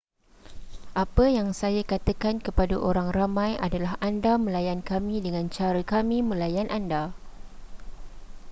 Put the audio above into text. apa yang saya katakan kepada orang ramai adalah anda melayan kami dengan cara kami melayan anda